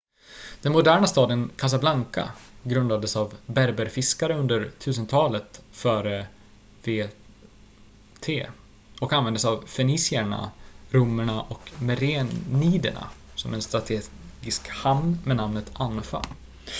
den moderna staden casablanca grundades av berberfiskare under 1000-talet fvt och användes av fenicierna romarna och mereniderna som en strategisk hamn med namnet anfa